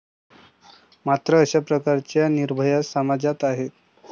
मात्र अशा प्रकारच्या निर्भया समाजात आहेत.